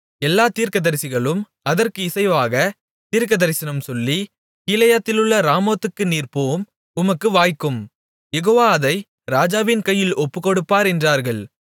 எல்லாத் தீர்க்கதரிசிகளும் அதற்கு இசைவாகத் தீர்க்கதரிசனம் சொல்லி கீலேயாத்திலுள்ள ராமோத்துக்குப் நீர் போம் உமக்கு வாய்க்கும் யெகோவா அதை ராஜாவின் கையில் ஒப்புக்கொடுப்பார் என்றார்கள்